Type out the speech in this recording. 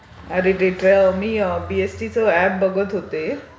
अरे, मी बीईएसटीचं एप बघत होते.